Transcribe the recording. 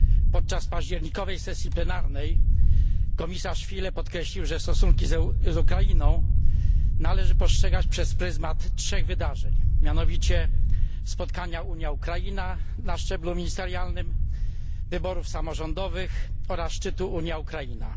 Podczas październikowej sesji plenarnej komisarz Füle podkreślił, że stosunki z Ukrainą należy postrzegać przez pryzmat 3 wydarzeń, mianowicie spotkania Unia Ukraina na szczeblu ministerialnym, wyborów samorządowych oraz szczytu Unia Ukraina.